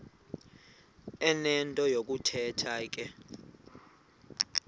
enento yokuthetha ke